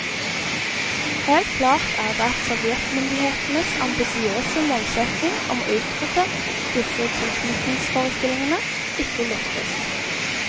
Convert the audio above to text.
Helt klart er det at sovjetmyndighetenes ambisiøse målsetting om å utrydde disse tilknytningsforestillingene, ikke lyktes.